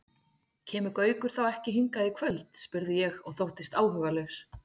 Kemur Gaukur þá ekki hingað í kvöld? spurði ég og þóttist áhugalaus.